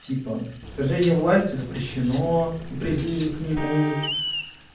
типа свержения власти запрещено и призывы к нему